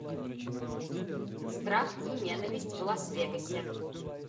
страх и ненависть в лас вегасе